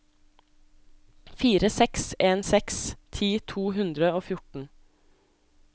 fire seks en seks ti to hundre og fjorten